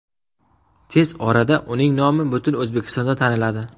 Tez orada uning nomi butun O‘zbekistonda taniladi.